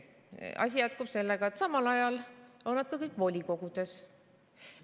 Asi jätkub sellega, et samal ajal on nad kõik volikogudes.